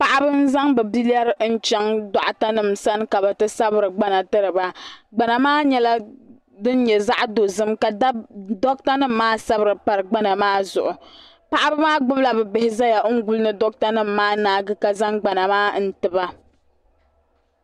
Paɣaba n zaŋ bɛ biliari n chaŋ doɣata nima sani ka bɛ ti zabri gbana tiriba gbana maa nyɛla din nyɛ zaɣa dozim doɣata nima maa sabiri pari gbana maa zuɣu paɣaba maa gbibila bɛ bihi zaya n guli ni doɣata nima maa naagi ka zaŋ gbana maa n tiba.